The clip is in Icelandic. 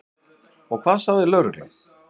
Og hvað sagði lögreglan?